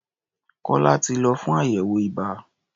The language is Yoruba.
Kọ́lá ti lọ fún àyẹ̀wò ibà.